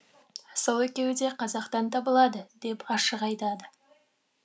сол екеуі де қазақтан табылады деп ашық айтады